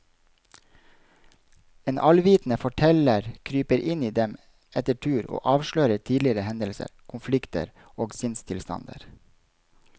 En allvitende forteller kryper inn i dem etter tur og avslører tidligere hendelser, konflikter og sinnstilstander.